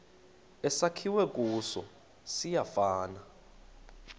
esakhiwe kuso siyafana